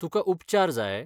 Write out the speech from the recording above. तुका उपचार जाय?